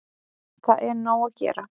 Það er nóg að gera.